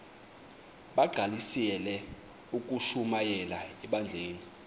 bagqalisele ukushumayela ebandleni